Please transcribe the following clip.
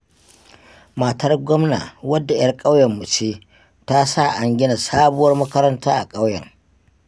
Matar gwamna wadda 'yar ƙauyenmu ce, ta sa an gina sabuwar makaranta a ƙauyen.